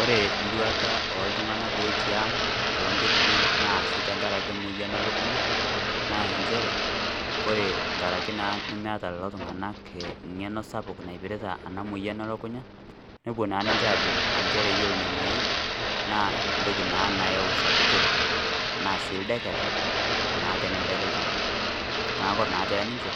ore nduata ooltung'anak ooti ang' nootokiting' naasi tenkaraki emoyian ee lukunya naa inchere kore nkarakii naa nemeeta lelo tung'anak eng'eno sapuk naipirita ena moyian elukunya nepuo naa ninche ajoo iyolo ina moyian naa entoki naa nayau sakutore enaa sii ildeketa naa tenedeki ltung'ani neeku oree naa teninche